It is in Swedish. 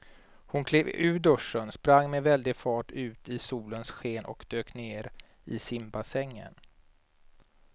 Hon klev ur duschen, sprang med väldig fart ut i solens sken och dök ner i simbassängen.